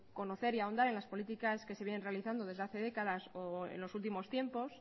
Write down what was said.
conocer y ahondar en las políticas que se vienen realizando desde hace décadas o en los últimos tiempos